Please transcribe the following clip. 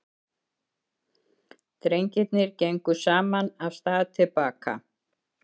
Drengirnir gengu saman af stað til baka.